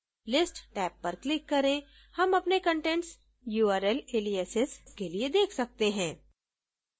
list tab पर click करें हम अपने कंटेंट्स url aliases के लिए देख सकते हैं